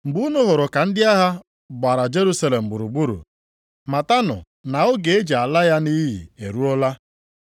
“Mgbe unu hụrụ ka ndị agha gbara Jerusalem gburugburu, matanụ na oge e ji ala ya nʼiyi eruola.